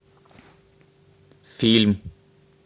фильм